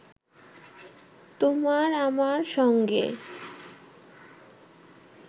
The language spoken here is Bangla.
তোমার আমার সঙ্গে